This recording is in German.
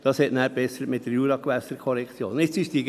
Das ist nachher durch die Juragewässerkorrektion besser geworden.